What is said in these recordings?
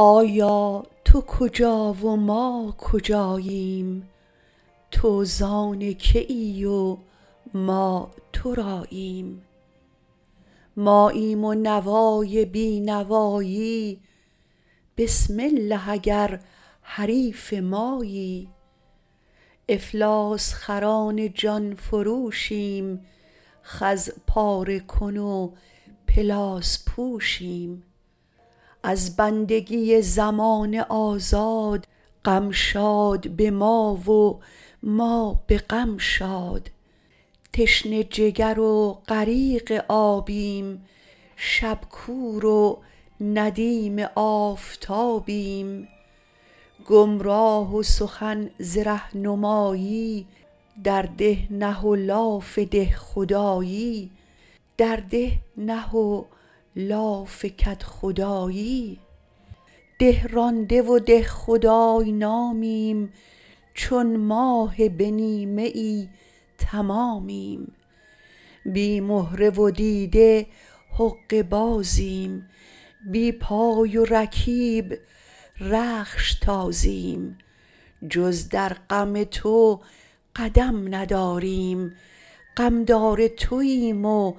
آیا تو کجا و ما کجاییم تو زان که ای و ما تراییم ماییم و نوای بی نوایی بسم الله اگر حریف مایی افلاس خران جان فروشیم خز پاره کن و پلاس پوشیم از بندگی زمانه آزاد غم شاد به ما و ما به غم شاد تشنه جگر و غریق آبیم شب کور و ندیم آفتابیم گمراه و سخن ز رهنمایی در ده نه و لاف کدخدایی ده رانده و دهخدای نامیم چون ماه به نیمه تمامیم بی مهره و دیده حقه بازیم بی پا و رکیب رخش تازیم جز در غم تو قدم نداریم غم دار توییم و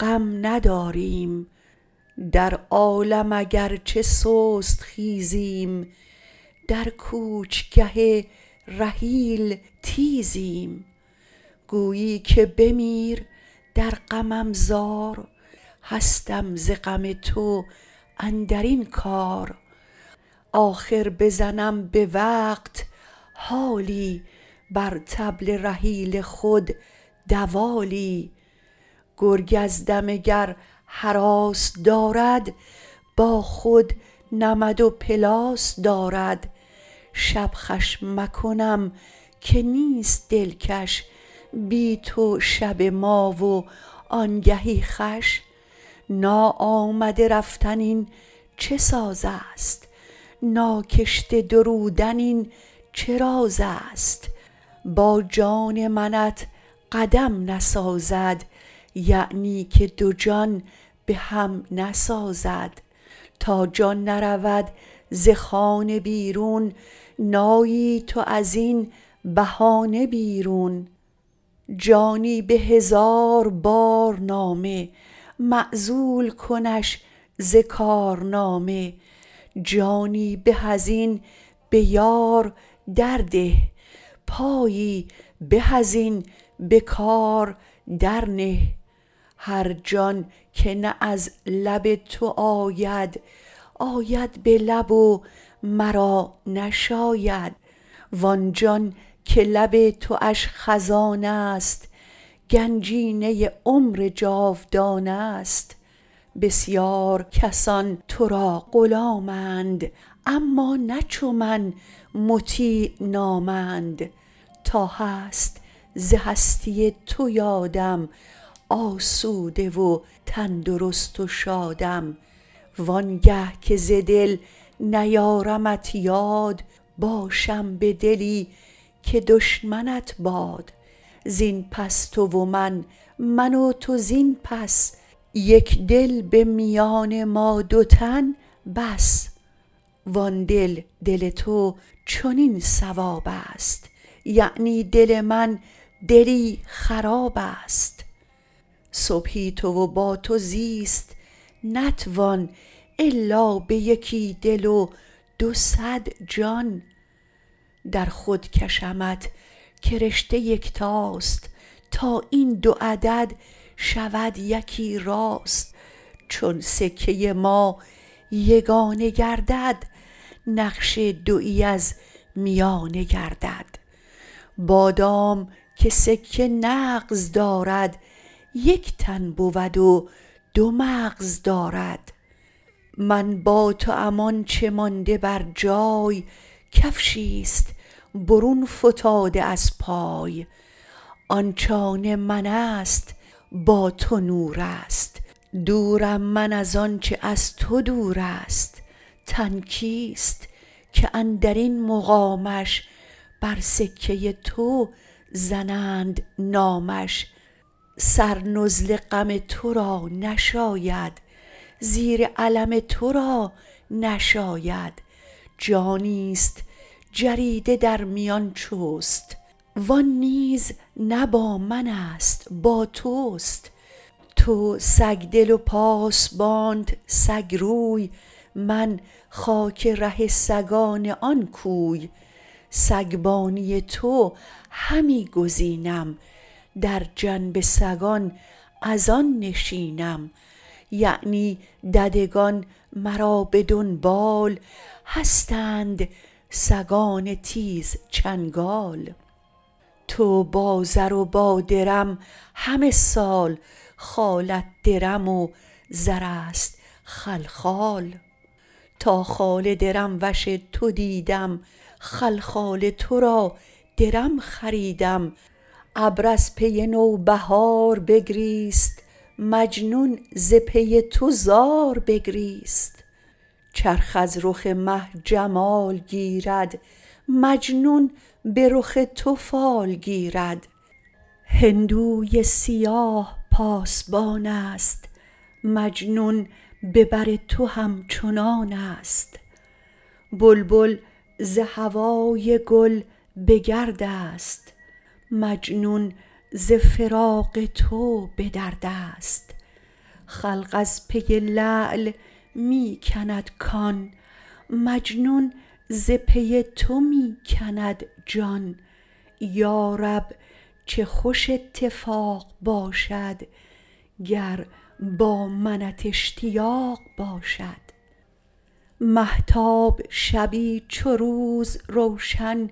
غم نداریم در عالم اگرچه سست خیزیم در کوچ گه رحیل تیزیم گویی که بمیر در غمم زار هستم ز غم تو اندرین کار آخر بزنم به وقت حالی بر طبل رحیل خود دوالی گرگ از دمه گر هراس دارد با خود نمد و پلاس دارد شب خوش مکنم که نیست دلکش بی تو شب ما و آنگهی خوش نا آمده رفتن این چه ساز است ناکشته درودن این چه راز است با جان منت قدم نسازد یعنی که دو جان بهم نسازد تا جان نرود ز خانه بیرون نایی تو از این بهانه بیرون جانی به هزار بار نامه معزول کنش ز کار نامه جانی به از این بیار در ده پایی به از این به کار در نه هر جان که نه از لب تو آید آید به لب و مرا نشاید وان جان که لب تواش خزانه ست گنجینه عمر جاودانه ست بسیار کسان ترا غلام اند اما نه چو من مطیع نام اند تا هست ز هستی تو یادم آسوده و تن درست و شادم وانگه که ز دل نیارمت یاد باشم به دلی که دشمنت باد زین پس تو و من من و تو زین پس یک دل به میان ما دو تن بس وان دل دل تو چنین صواب است یعنی دل من دلی خراب است صبحی تو و با تو زیست نتوان الا به یکی دل و دو صد جان در خود کشمت که رشته یکتاست تا این دو عدد شود یکی راست چون سکه ما یگانه گردد نقش دویی از میانه گردد بادام که سکه نغز دارد یک تن بود و دو مغز دارد من با توام آنچه مانده بر جای کفشی است برون فتاده از پای آنچ آن من است با تو نور است دورم من از آنچه از تو دور است تن کیست که اندرین مقامش بر سکه تو زنند نامش سر نزل غم تو را نشاید زیر علم تو را نشاید جانی ست جریده در میان چست وان نیز نه با من است با تست تو سگدل و پاسبانت سگ روی من خاک ره سگان آن کوی سگبانی تو همی گزینم در جنب سگان از آن نشینم یعنی ددگان مرا به دنبال هستند سگان تیز چنگال تو با زر و با درم همه سال خالت درم و زر است خلخال تا خال درم وش تو دیدم خلخال ترا درم خریدم ابر از پی نوبهار بگریست مجنون ز پی تو زار بگریست چرخ از رخ مه جمال گیرد مجنون به رخ تو فال گیرد هندوی سیاه پاسبان است مجنون به بر تو همچنان است بلبل ز هوای گل به گرد است مجنون ز فراق تو به درد است خلق از پی لعل می کند کان مجنون ز پی تو می کند جان یارب چه خوش اتفاق باشد گر با منت اشتیاق باشد مهتاب شبی چو روز روشن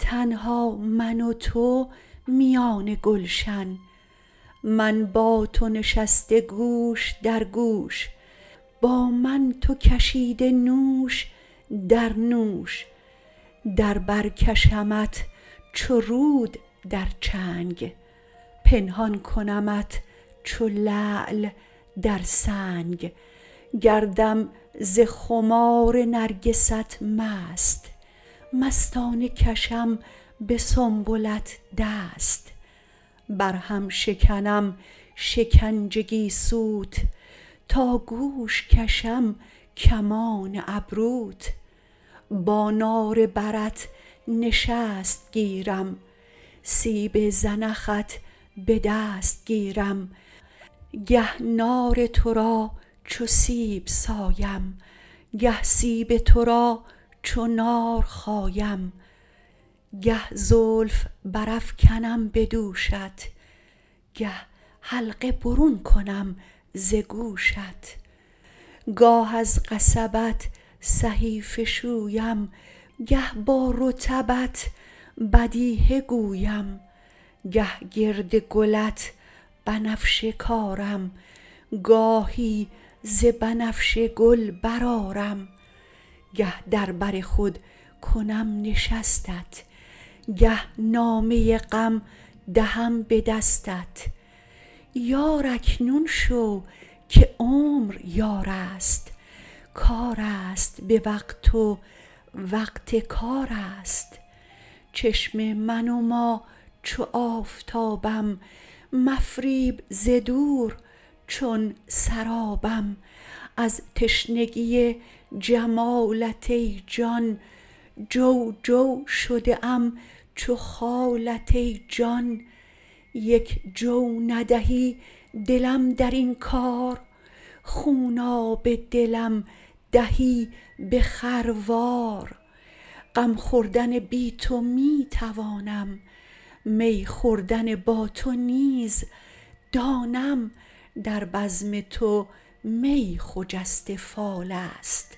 تنها من و تو میان گلشن من با تو نشسته گوش در گوش با من تو کشیده نوش در نوش در بر کشمت چو رود در چنگ پنهان کنمت چو لعل در سنگ گردم ز خمار نرگست مست مستانه کشم به سنبلت دست بر هم شکنم شکنج گیسوت تا گوش کشم کمان ابروت با نار برت نشست گیرم سیب زنخت به دست گیرم گه نار ترا چو سیب سایم گه سیب تو را چو نار خایم گه زلف برافکنم به دوشت گه حلقه برون کنم ز گوشت گاه از قصبت صحیفه شویم گه با رطبت بدیهه گویم گه گرد گلت بنفشه کارم گاهی ز بنفشه گل برآرم گه در بر خود کنم نشستت گه نامه غم دهم به دستت یار اکنون شو که عمر یار است کار است به وقت و وقت کار است چشمه منما چو آفتابم مفریب ز دور چون سرابم از تشنگی جمالت ای جان جو جو شده ام چو خالت ای جان یک جو ندهی دلم در این کار خوناب دلم دهی به خروار غم خوردن بی تو می توانم می خوردن با تو نیز دانم در بزم تو می خجسته فال است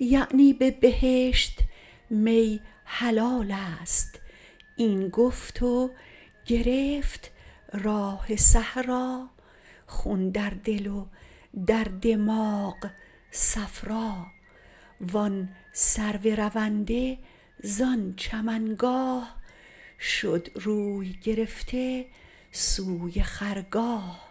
یعنی به بهشت می حلال است این گفت و گرفت راه صحرا خون در دل و در دماغ صفرا وان سرو رونده زان چمن گاه شد روی گرفته سوی خرگاه